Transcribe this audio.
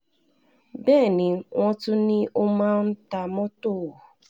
bẹ́ẹ̀ ni wọ́n tún ní ó máa ń ta mọ́tò